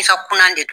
I ka kuna de